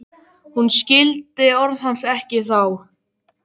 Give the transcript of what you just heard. Hún skildi orð hans ekki þá.